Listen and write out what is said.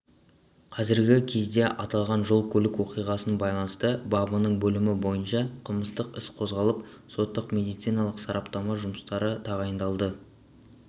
қазіргі кезде аталған жол-көлік оқиғасына байланысты бабының бөлімі бойынша қылмыстық іс қозғалып соттық-медициналық сараптама жұмыстары тағайындалды